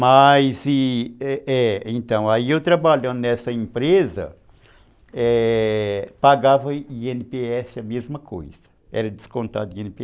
Mas, é, é, então, aí eu trabalhando nessa empresa, pagava i ene pê esse a mesma coisa, era descontado i ene pê